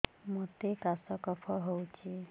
ମୋତେ କାଶ କଫ ହଉଚି